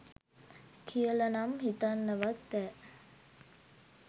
කියලනම් හිතන්නවත් බෑ